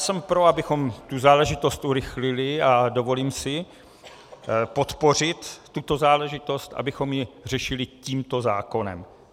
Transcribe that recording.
Jsem pro, abychom tu záležitost urychlili, a dovolím si podpořit tuto záležitost, abychom ji řešili tímto zákonem.